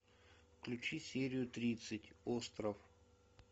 включи серию тридцать остров